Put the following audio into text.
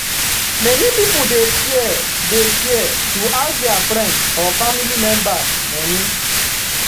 many people dey fear dey fear to ask their friend or family members money.